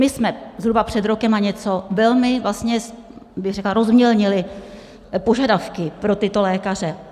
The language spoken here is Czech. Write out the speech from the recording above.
My jsme zhruba před rokem a něco velmi, vlastně bych řekla, rozmělnili požadavky pro tyto lékaře.